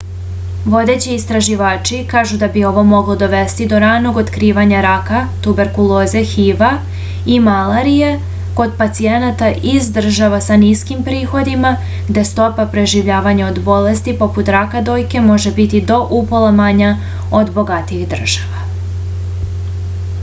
vodeći istraživači kažu da bi ovo moglo dovesti do ranog otkrivanja raka tuberkuloze hiv-a i malarije kod pacijenata iz država sa niskim prihodima gde stopa preživljavanja od bolesti poput raka dojke može biti do upola manja od bogatijih država